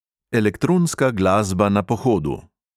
Elektronska glasba na pohodu!